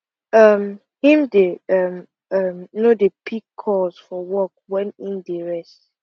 um him dey um um no dey pick calls from work wen im dey rest